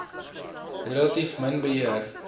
relatief min beheer